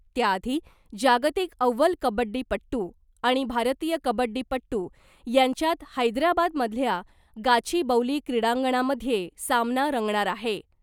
त्याआधी जागतिक अव्वल कबड्डीपट्टू आणि भारतीय कबड्डीपट्टू यांच्यात हैदराबादमधल्या गाचीबौली क्रीडांगणामधे सामना रंगणार आहे .